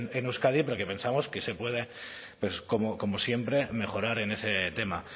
en euskadi pero que pensamos que se puede como siempre mejorar en ese tema